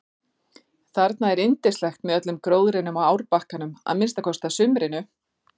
Þarna er yndislegt með öllum gróðrinum á árbakkanum að minnsta kosti að sumrinu.